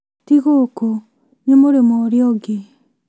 Ti gũkũ nĩ mũrĩmo ũrĩa ũngĩ